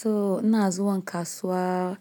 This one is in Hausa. To ina zuwan kasuwa,